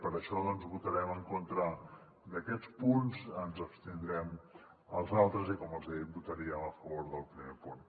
per això doncs votarem en contra d’aquests punts ens abstindrem als altres i com els he dit votaríem a favor del primer punt